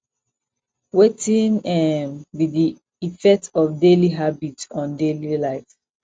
wetin um be di effect of daily habits on daily life